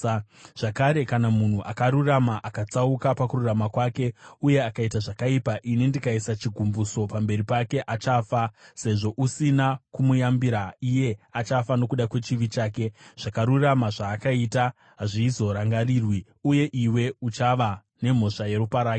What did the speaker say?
“Zvakare, kana munhu akarurama akatsauka pakururama kwake uye akaita zvakaipa, ini ndikaisa chigumbuso pamberi pake, achafa. Sezvo usina kumuyambira, iye achafa nokuda kwechivi chake. Zvakarurama zvaakaita hazvizorangarirwi, uye iwe uchava nemhosva yeropa rake.